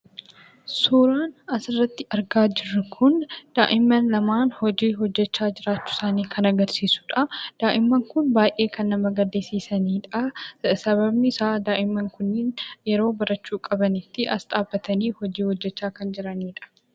Suuraan asirratti argaa jirru kun, daa'imman lamaan hojii hojjechaa jiraachuu isaanii kan agarsiisudha. Daa'imman Kun baayyee kan nama gaddisiisanidha. Sababni isaa daa'imman Kuniin yeroo barachuu qabanitti as dhaabbatanii hojii hojjechaa kan jiranidha.